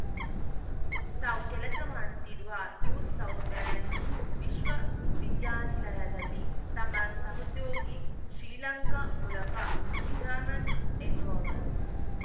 ತಾವು ಕೆಲಸ ಮಾಡುತ್ತಿರುವ ನ್ಯೂ ಸೌತ್‌ ವೇಲೆನ್ಸ್ ವಿಶ್ವವಿದ್ಯಾನಿಲಯದಲ್ಲಿ ತಮ್ಮ ಸಹೋದ್ಯೋಗಿ ಶ್ರೀಲಂಕಾ ಮೂಲಕ ನಿಜಾಮಿನ್‌ ಎನ್ನುವವರು